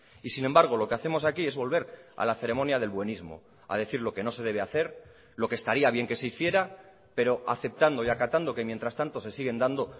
y sin embargo lo que hacemos aquí es volver a la ceremonia del buenismo a decir lo que no se debe hacer lo que estaría bien que se hiciera pero aceptando y acatando que mientras tanto se siguen dando